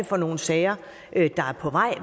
for nogle sager